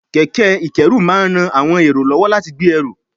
kẹ̀kẹ́ ìkẹ́rù máa ń ran àwọn èrò lọ́wọ́ láti gbé ẹrù